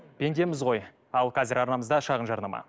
пендеміз ғой ал қазір арнамызда шағын жарнама